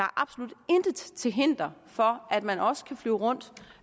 absolut intet til hinder for at man også kan flyve rundt